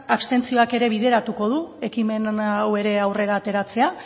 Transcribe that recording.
abstentzioak ere bideratuko du ekimen hau ere aurrera ateratzea